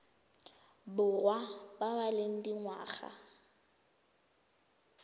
borwa ba ba leng dingwaga